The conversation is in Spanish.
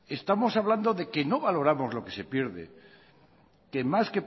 estamos hablando de que no valoramos lo que se pierde que más